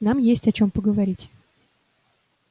нам есть о чём поговорить